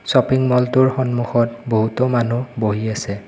Shopping মলটোৰ সন্মুখত বহুতো মানুহ বহি আছে।